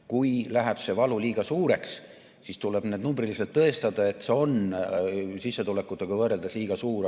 Kui see valu läheb liiga suureks, siis tuleb numbriliselt tõestada, et see on sissetulekutega võrreldes liiga suur.